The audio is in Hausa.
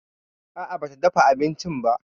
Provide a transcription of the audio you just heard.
A'a ba ta dafa abincin ba.